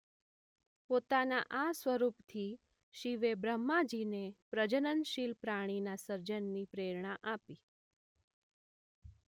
પોતાના આ સ્વરૂપથી શિવે બ્રહ્માજીને પ્રજનનશીલ પ્રાણીના સર્જનની પ્રેરણા આપી.